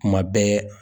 Kuma bɛɛ